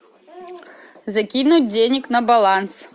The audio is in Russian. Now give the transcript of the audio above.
закинуть денег на баланс